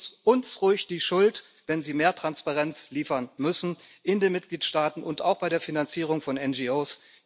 Geben Sie uns ruhig die Schuld, wenn Sie mehr Transparenz liefern müssen in den Mitgliedstaaten und auch bei der Finanzierung von NGOs.